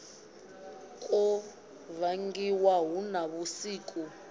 kwo vangiwa hu na vhusiki